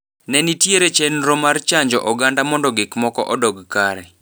Nenitiere chenro mar chanjo oganda mondo gikmoko odog kare.